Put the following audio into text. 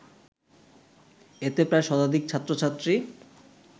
এতে প্রায় শতাধিক ছাত্র-ছাত্রী